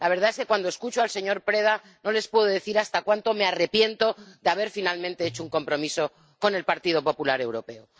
La verdad es que cuando escucho al señor Preda no les puedo decir cuánto me arrepiento de haber finalmente hecho un compromiso con el Partido Popular Europeo.